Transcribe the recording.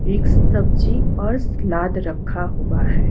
Mix सब्जी और salad रखा हुआ है।